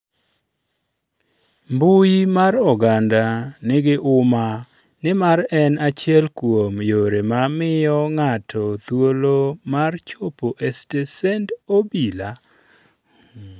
mbui mar oganda nigi umma nimar en achiel kuom yore ma miyo ng'ato thuolo mar chopo e stesend obila?